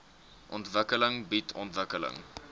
ontwikkeling bied ontwikkeling